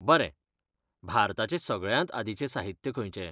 बरें. भारताचें सगळ्यांत आदींचें साहित्य खंयचें?